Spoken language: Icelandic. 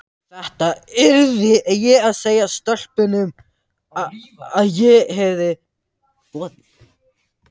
Þetta yrði ég að segja stelpunum, að ég hefði boðið